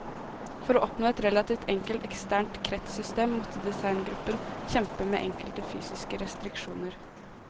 For å oppnå et relativt enkelt eksternt kretssystem måtte designgruppen kjempe med enkelte fysiske restriksjoner.